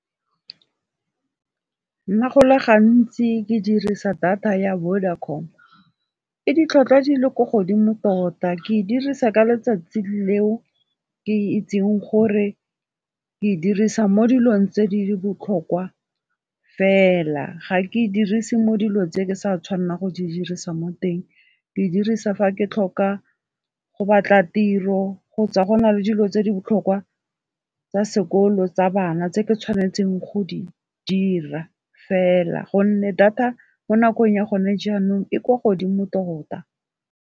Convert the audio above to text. Nna go le gantsi ke dirisa data ya Vodacom. E ditlhwatlhwa di le ko godimo tota ke dirisa ka letsatsi leo ke itseng gore ke e dirisa mo dilong tse di botlhokwa fela, ga ke dirise mo dilo tse ke sa tshwanelang go di dirisa mo teng. Ke e dirisa fa ke tlhoka go batla tiro kgotsa go na le dilo tse di botlhokwa tsa sekolo tsa bana tse ke tshwanetseng go di dira fela gonne data mo nakong ya gone jaanong e kwa godimo tota.